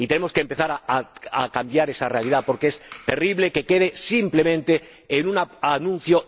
Y tenemos que empezar a cambiar esa realidad porque es terrible que quede simplemente en un anuncio...